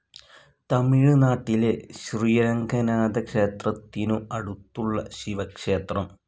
തമിഴ് നാട്ടിലെ ശ്രീരംഗനാഥ ക്ഷേത്രത്തിനു അടുത്തുള്ള ശിവക്ഷേത്രം.